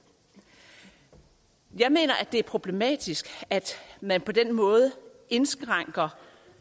jeg mener at det er problematisk at man på den måde indskrænker